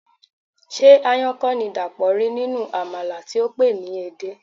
Ṣé aáyán kọ́ ni Dàpọ̀ rí nínú àmàlà tí ó pè é ní edé?